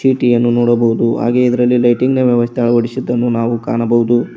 ಚಿಟಿಯನ್ನು ನೋಡಬಹುದು ಹಾಗೆ ಇದರಲ್ಲಿ ಲೈಟಿಂಗ್ ವ್ಯವಸ್ಥೆ ಅಳವಡಿಸಿದ್ದನ್ನು ನಾವು ಕಾಣಬಹುದು.